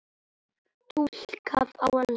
Túlkað á ensku.